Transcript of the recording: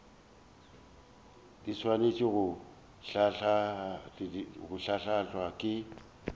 di swanetše go hlahlwa ke